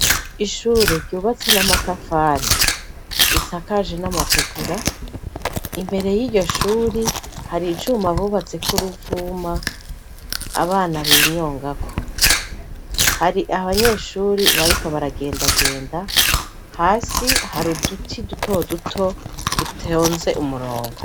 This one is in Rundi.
Ishure ryubatse n'amatafari risakaje n'amategura imbere y'iryo shuri hari icuma bubatseko uruvuma abana binyongako hari abanyeshuri bariko baragendagenda hasi hari uduti dutoduto dutonze umurongo.